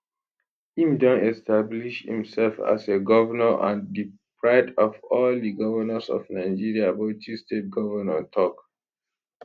im don establish imsef as a govnor and di pride of all di govnors of nigeria bauchi state govnor tok